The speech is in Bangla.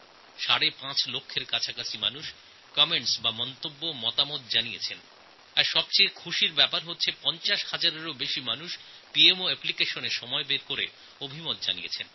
সাড়ে পাঁচ লক্ষের কাছাকাছি মানুষ তাঁদের মতামত দিয়েছেন আর সবথেকে খুশির কথা এই যে পঞ্চাশ হাজারের বেশি মানুষ সময় বার করে পিএমও অ্যাপ্লিকেশনএর ব্যাপারে মতামত দিয়েছেন